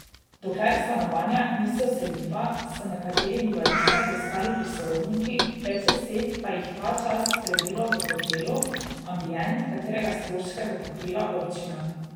Dokler stanovanja niso vseljiva, so nekateri bivališča poiskali pri sorodnikih, več deset pa jih ta čas prebilo v hotelu Ambient, katerega stroške bo pokrila občina.